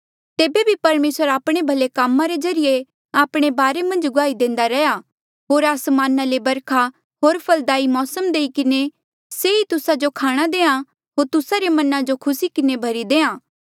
तेबे भी परमेसर आपणे भले कामा रे ज्रीए आपणे बारे मन्झ गुआही देंदा रह्या होर आसमाना ले बरखा होर फलदाई मौसम देई किन्हें ये ई तुस्सा जो खाणा देहां होर तुस्सा रे मना जो खुसी किन्हें भरी देहां